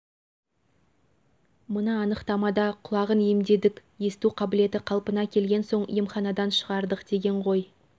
мына анықтамада құлағын емдедік есту қабілеті қалпына келген соң емханадан шығардық деген ғой